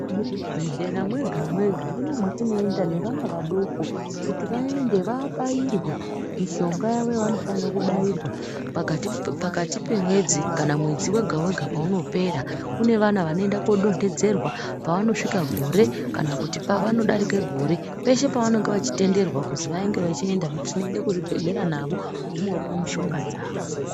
Muzvibhedhlera mwega-mwega ndimwo mwatinoenda nevana vadoko kuti vaende vabairwe mishonga yavo yavanofanira kubairwa pakati pemwedzi kana mwedzi wega-wega paunopera. Kune vana vanoenda kodonhedzerwa pavanosvika gore kana kuti pavanodarike gore peshe pavanenge vechitenderwa kuzi vanenge vachienda tinoenda kuzvibhedhlera navo veinopuva mishinga dzavo.